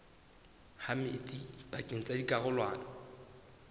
ha metsi pakeng tsa dikarolwana